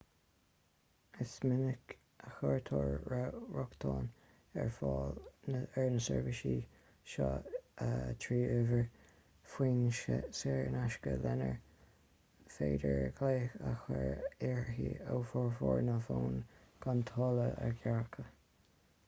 is minic a chuirtear rochtain ar fáil ar na seirbhísí seo trí uimhir fóin saor in aisce lenar féidir glaoch a chur uirthi ó fhormhór na bhfón gan táille a ghearradh